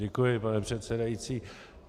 Děkuji, pane předsedající.